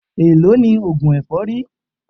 Èló ni oògùn èfọ́rí?